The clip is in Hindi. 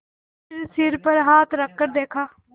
फिर सिर पर हाथ रखकर देखा